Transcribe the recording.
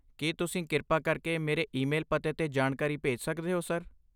ਕੀ ਤੁਸੀਂ ਕਿਰਪਾ ਕਰਕੇ ਮੇਰੇ ਈਮੇਲ ਪਤੇ 'ਤੇ ਜਾਣਕਾਰੀ ਭੇਜ ਸਕਦੇ ਹੋ, ਸਰ?